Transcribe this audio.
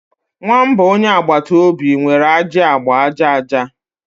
Nwamba onye agbata obi nwere ajị agba aja aja.